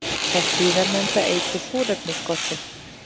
Það síðarnefnda eykur súrefnisskortinn.